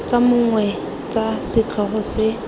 tsa mong tsa setlhogo se